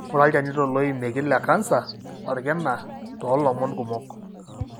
Inguraa ilchanito loimieki le cancer olkina to lomon kumok.